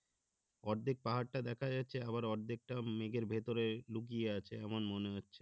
অর্ধেক পাহাড় টা দেখা যাচ্ছে আবার অর্ধেকটা মেঘের ভেতরে লুকিয়ে আছে এমন মনে হচ্ছে